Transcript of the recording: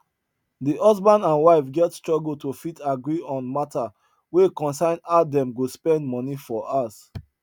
the husband and wife get struggle to fit agree on matter wey concern how them go spend money for house